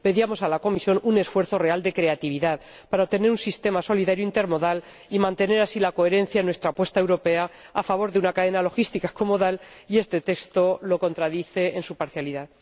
Pedíamos a la Comisión un esfuerzo real de creatividad para obtener un sistema solidario intermodal y mantener así la coherencia en nuestra apuesta europea a favor de una cadena logística co modal y este texto lo contradice en su parcialidad.